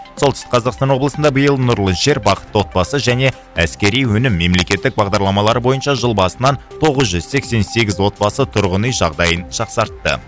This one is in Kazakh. солтүстік қазақстан облысында биыл нұрлы жер бақытты отбасы және әскери өнім мемлекеттік бағдарламалары бойынша жыл басынан тоғыз жүз сексен сегіз отбасы тұрғын үй жағдайын жақсартты